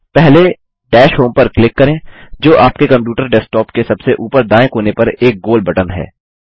पहलेDash home पर click करें जो आपके कंप्यूटर डेस्कटॉप के सबसे ऊपर दायें कोने पर एक गोल बटन है